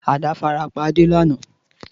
Àdá farapa Ade lana.